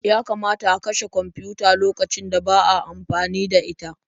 Yakamata a kashe kwamfiyuta lokacin da ba a amfani da ita.